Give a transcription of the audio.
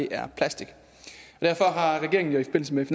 er plastik derfor har regeringen jo i forbindelse med